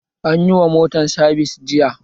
Anyi wa motan sabis jiya